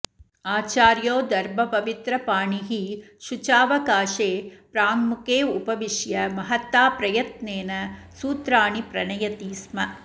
आचार्यो दर्भपवित्रपाणिः शुचावकाशे प्राङ्मुख उपविश्य महताप्रयत्नेनः सूत्राणि प्रणयति स्म